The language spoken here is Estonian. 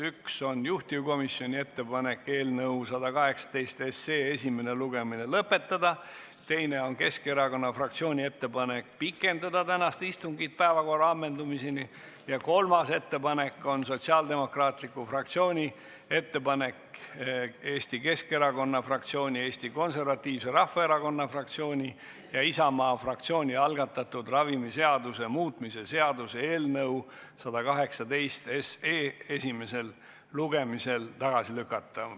Üks on juhtivkomisjoni ettepanek eelnõu 118 esimene lugemine lõpetada, teine on Keskerakonna fraktsiooni ettepanek pikendada tänast istungit päevakorra ammendumiseni ja kolmas on Sotsiaaldemokraatliku Erakonna fraktsiooni ettepanek Eesti Keskerakonna fraktsiooni, Eesti Konservatiivse Rahvaerakonna fraktsiooni ja Isamaa fraktsiooni algatatud ravimiseaduse muutmise seaduse eelnõu 118 esimesel lugemisel tagasi lükata.